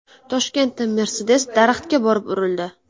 Toshkentda Mercedes daraxtga borib urildi.